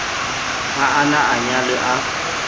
ha a na anyalwe a